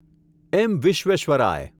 એમ. Visvesvaraya